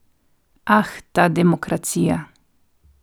Ah, ta demokracija.